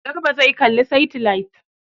Garba zai kalla saitilait.